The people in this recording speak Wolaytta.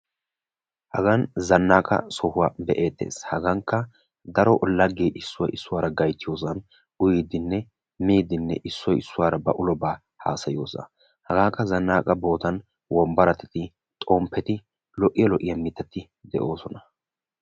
Hagaan zannaqa sohuwaa be'ettees. hagankka daro laggee issoy issuwaara gayttiyoosan uyiidinne miidinne issoy issuwaara ba ulobaa haasayiyoosan hagaakka zannaqa boottan wombbarati xoo'eti lo"iyaa lo"iyaa mittati de'oosona.